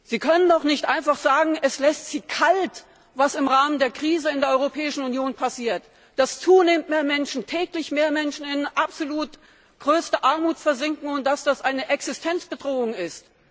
Sie können doch nicht einfach sagen, es lässt Sie kalt, was im Rahmen der Krise in der Europäischen Union passiert, dass täglich mehr Menschen in absolut größte Armut versinken und dass das eine Existenzbedrohung ist.